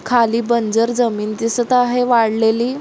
खाली जमीन दिसत आहे वाळलेली--